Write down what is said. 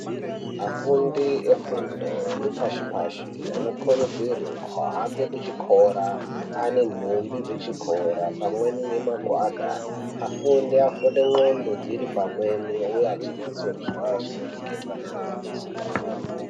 Afundi efundo yepashi-pashi anokurudzirwa ahambe kuchikora, ane nhumbi dzechikora pamweni nemagwada. Afunde, afunde ndxondo dziri pamweni uye achinyatsonzwa zvinoreketwa neadzidzisi ake.